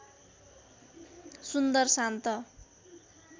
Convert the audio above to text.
सुन्दर शान्त